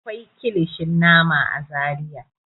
Akwai kilishin nama a Zariya.